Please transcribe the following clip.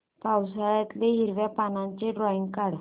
पावसाळ्यातलं हिरव्या पानाचं ड्रॉइंग काढ